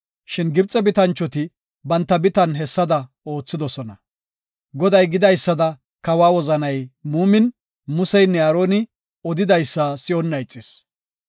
Shin Gibxe bitanchoti banta bitan hessada oothidosona. Goday gidaysada kawa wozanay muumin, Museynne Aaroni odidaysa si7onna ixis.